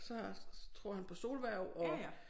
Så tror han på solhverv og